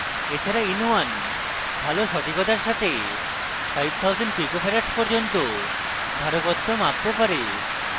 এছাড়া in1 ভালো সঠিকতার সাথে 5000 pf pico farads পর্যন্ত ধারকত্ব মাপতে পারে